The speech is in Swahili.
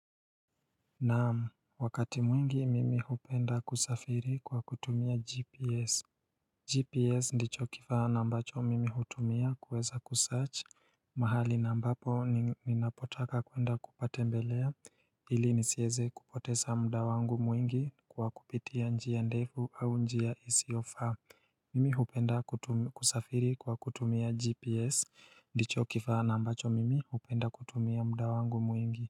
Naamu wakati mwingi mimi hupenda kusafiri kwa kutumia GPS GPS ndicho kifaa na ambacho mimi hutumia kuweza kusearch mahali na ambapo ninapotaka kwenda kupatembelea ili nisieze kupotesa mda wangu mwingi kwa kupitia njia ndefu au njia isiyo faa Mimi hupenda kutu kusafiri kwa kutumia GPS ndicho kifaa na ambacho mimi hupenda kutumia mda wangu mwingi.